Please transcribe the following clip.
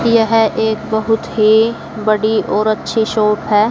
यह एक बहुत ही बड़ी और अच्छी शॉप है।